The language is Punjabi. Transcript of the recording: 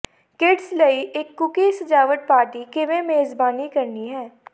ਕਿਡਜ਼ ਲਈ ਇਕ ਕੂਕੀ ਸਜਾਵਟ ਪਾਰਟੀ ਕਿਵੇਂ ਮੇਜ਼ਬਾਨੀ ਕਰਨੀ ਹੈ